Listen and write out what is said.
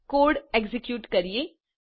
ચાલો code execute કરીએ